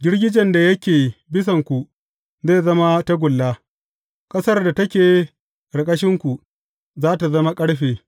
Girgijen da yake bisanku zai zama tagulla, ƙasar da take ƙarƙashinku za tă zama ƙarfe.